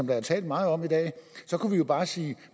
der er talt meget om i dag så kunne vi jo bare sige